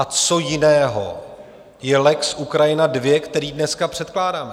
A co jiného je lex Ukrajina II, který dneska předkládáme?